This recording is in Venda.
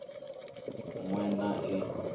ṅ we na i ṅ